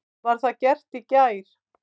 Var það gert í gær.